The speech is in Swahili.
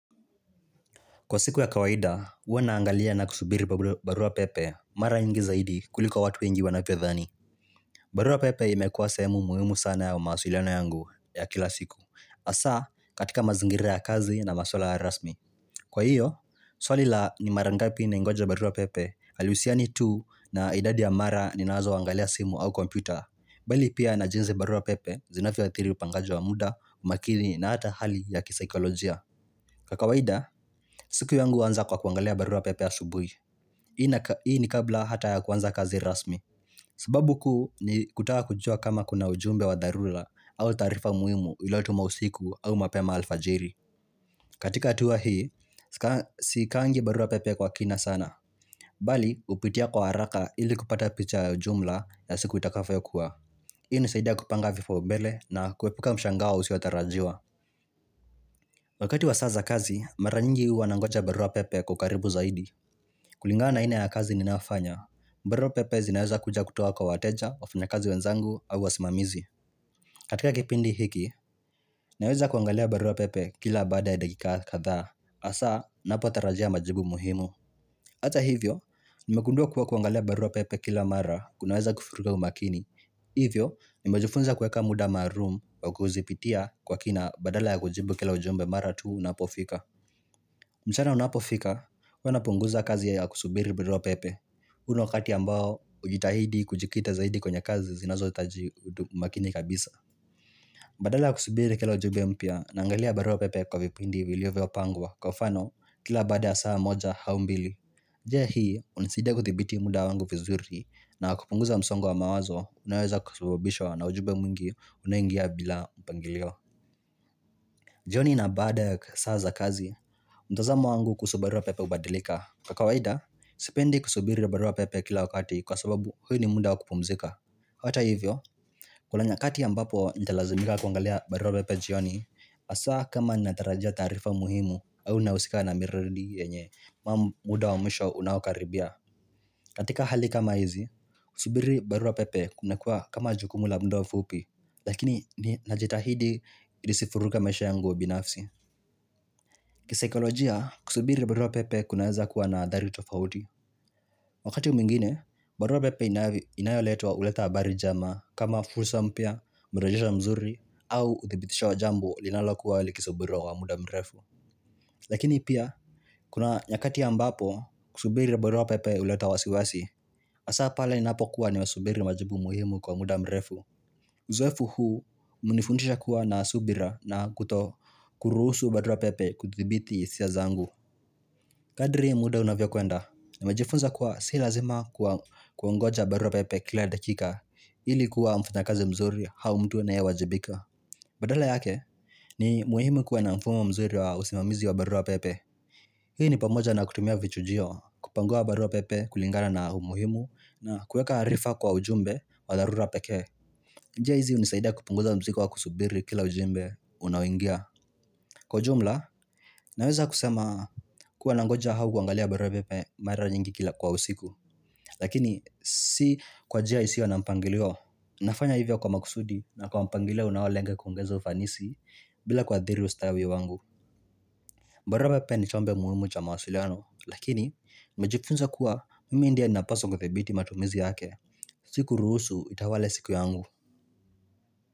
Kwa siku ya kawaida, huwa naangalia na kusubiri barua pepe, mara nyingi zaidi kuliko watu wengi wanavyodhani. Barua pepe imekuwa sehemu muhimu sana ya mawasiliano yangu ya kila siku. Hasa, katika mazingira ya kazi na maswala rasmi. Kwa hio, swali la ni mara ngapi naingoja barua pepe, halusiani tu na idadi ya mara ninazoangalia simu au kompyuta. Bali pia na jinsi barua pepe, zinavyoadhiri upangaji wa muda, umakili na hata hali ya kisyikolojia. Kwa kawaida, siku yangu huanza kwa kuangalia barua pepe asubui. Hii ni kabla hata ya kwanza kazi rasmi sababu kuu ni kutaka kujua kama kuna ujumbe wa dharura au taarifa muimu iliyotumwa usiku au mapema alfajiri. Katika hatua hii, siwekangi barua pepe kwa kina sana Bali, hupitia kwa haraka ili kupata picha ya ujumla ya siku itakavyokuwa. Hii ni zaidi kupanga vipaumbele na kuepuka mshangao usiotarajiwa Wakati wa saa za kazi, mara nyingi huwa nangoja barua pepe kwa ukaribu zaidi kulingana na aina ya kazi ninayofanya barua pepe zinaweza kuja kutoa kwa wateja wafanyakazi wenzangu au wasimamizi. Katika kipindi hiki, naweza kuangalia barua pepe kila baada ya dakika kadhaa hasaa, ninapotarajia majibu muhimu Ata hivyo, nimegundua kuwa kuangalia barua pepe kila mara kunaweza kuvurugha umakini Hivyo, nimejifunza kuweka muda maalum wa kuzipitia kwa kina badala ya kujibu kila ujumbe mara tu unapofika mchana unapofika, huwa napunguza kazi ya kusubiri barua pepe huu ni wakati ambao hujitahidi kujikita zaidi kwenye kazi zinazohitaji umakini kabisa Badala ya kusubiri kila ujumbe mpya naangalia barua pepe kwa vipindi vilivyopangwa. Kwa mfano, kila baada ya saa moja au mbili njia hii, hunisaidia kudhibiti muda wangu vizuri na kupunguza msongo wa mawazo, unoweza kusababishwa na ujumbe mwingi unaoingia bila mpangilio jioni na baada ya saa za kazi, mtazamo wangu kuhusu barua pepe hubadilika. Kwa kawaida, sipendi kusubiri barua pepe kila wakati kwa sababu hu ni munda wakupumzika. Hata hivyo, kuna nyakati ambapo nitalazimika kuangalia barua pepe jioni, hasaa kama natarajia taarifa muhimu au nahusika na miradi yenye muda wa mwisho unaokaribia. Katika hali kama hizi, kusubiri barua pepe kumekuwa kama jukumu la muda mfupi lakini najitahidi nisivuruge maisha yangu binafsi Kisyikolojia, kusubiri barua pepe kunaweza kuwa na hadhari tofauti Wakati mwingine, barua pepe inayoletwa huleta habari njema kama fursa mpya, mridhisho mzuri au uthibitisho wa jamb linalokuwa likisubiriwa kwa muda mrefu Lakini pia, kuna nyakati ambapo kusubiri barua pepe huleta wasiwasi hasaa pale ninapokuwa nimesubiri majibu muhimu kwa muda mrefu Uzoefu huu, umenifundisha kuwa na subira na kuto kurusu barua pepe kuthibiti hisia zangu Kadri ya muda unavyokwenda, nimejifunza kuwa si lazima kungoja barua pepe kila dakika ili kuwa mfanyakazi mzuri au mtu anaye wajibika. Badala yake, ni muhimu kuwa na mfumo mzuri wa usimamizi wa barua pepe. Hii ni pamoja na kutumia vichujio kupangua barua pepe kulingana na umuhimu na kuweka harifa kwa ujumbe wa dharura pekee. Njia hizi hunisaida kupunguza mzigo wa kusubiri kila ujumbe unaoingia. Kwa ujumla, naweza kusema kuwa nangoja au kuangalia barua bepe mara nyingi kila kwa usiku. Lakini si kwa njia isiyo na mpangilio nafanya hivyo kwa makusudi na kwa mpangilio unaolenge kuongeza ufanisi bila kuhadhiri ustawi wangu Baraupepe ni chombe muhumu cha mawasiliano. Lakini, nimejifunza kuwa mimi ndiye napaswa kuthibiti matumizi yake Si kuruhusu itawale siku yangu.